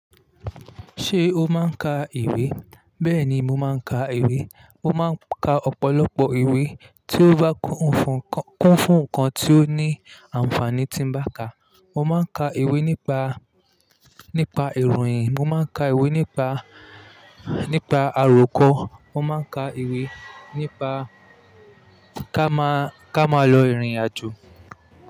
Ṣé o máa ń ka ìwé? Bẹ́ẹ̀ ni, mo máa ń ka ìwé. Mo máa ń ka ọ̀pọ̀lọpọ̀ ìwé tí ó bá kún fún nǹkan tí ó ní àǹfààní tí mo bá ka. Mo máa ń ka ìwé nípa, nípa ìròyìn, mo máa ń ka ìwé nípa, nípa àròkọ, mo máa ń ka ìwé nípa ká máa lọ ìrìnàjò.